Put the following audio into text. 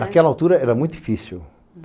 Naquela altura era muito difícil.